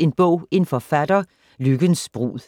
En bog - en forfatter: Lykkens brud *